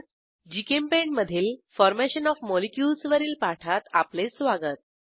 GChemPaint मधील formation OF molecules वरील पाठात आपले स्वागत